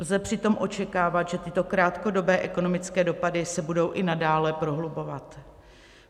Lze přitom očekávat, že tyto krátkodobé ekonomické dopady se budou i nadále prohlubovat.